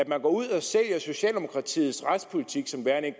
man går ud og sælger socialdemokratiets retspolitik som værende en